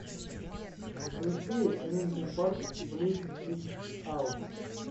включи линкин парк блид ит аут